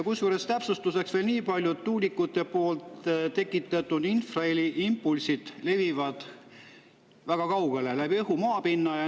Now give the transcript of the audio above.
Kusjuures täpsustuseks veel nii palju, et tuulikute tekitatud infraheli impulsid levivad läbi õhu ja maapinna väga kaugele.